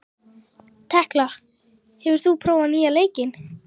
Tekla, hefur þú prófað nýja leikinn?